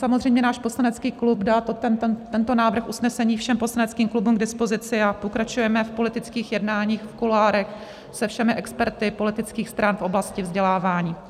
Samozřejmě náš poslanecký klub dal tento návrh usnesení všem poslaneckým klubům k dispozici a pokračujeme v politických jednáních v kuloárech se všemi experty politických stran v oblasti vzdělávání.